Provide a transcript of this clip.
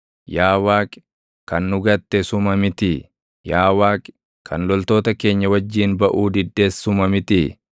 Yaa Waaqi, kan nu gatte suma mitii? Yaa Waaqi, kan loltoota keenya wajjin baʼuu diddes suma mitii?